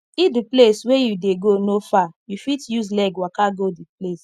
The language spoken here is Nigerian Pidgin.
if di place wey you dey go no far you fit use leg waka go di place